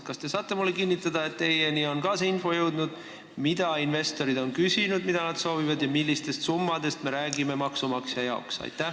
Kas te saate mulle kinnitada, et ka teie kätte on jõudnud see info, mida investorid on küsinud, mida nad soovivad ja millistest summadest me räägime maksumaksja jaoks?